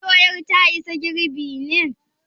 Shin doyar ta isa girɓi ne?